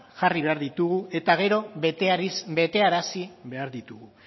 jarri behar ditugu eta gero betearazi behar ditugu